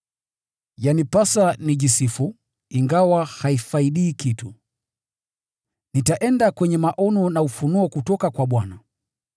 Yanipasa nijisifu, ingawa haifaidi kitu. Nitaenda kwenye maono na ufunuo kutoka kwa Bwana.